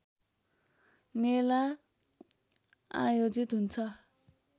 मेला आयोजित हुन्छ